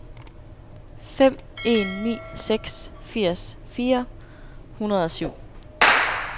fem en ni seks firs fire hundrede og syv